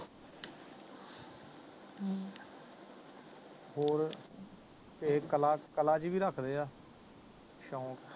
ਹੋਰ ਇਹ ਕਲਾ ਕਲਾ ਜੀ ਵੀ ਰੱਖਦੇ ਆ ਸ਼ੋਂਕ